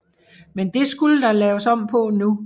Men det skulle der laves om på nu